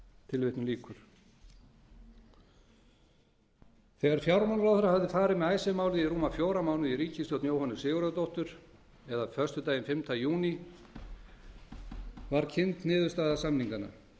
til endanlegrar samþykktar þegar fjármálaráðherra hafði farið með icesave málið í rúma fjóra mánuði í ríkisstjórn jóhönnu sigurðardóttur eða föstudaginn fimmta júní var kynnt niðurstaða samninganna